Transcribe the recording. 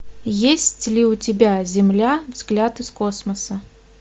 есть ли у тебя земля взгляд из космоса